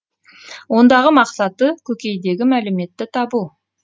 ондағы мақсаты көкейдегі мәліметті табу